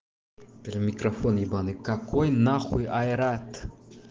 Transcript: микрофон ебанный какой на хуй айрат